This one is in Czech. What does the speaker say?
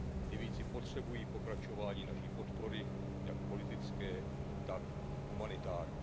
Libyjci potřebují pokračování naší podpory jak politické, tak humanitární.